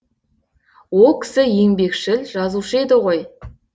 о кісі еңбекшіл жазушы еді ғой